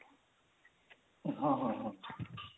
ହଁ ହଁ ହଁ